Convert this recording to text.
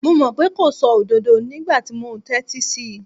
Mo mọ̀ pé kò sọ òdodo nígbà tí mo ń tẹ́tí sí í.